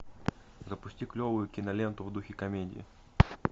запусти клевую киноленту в духе комедии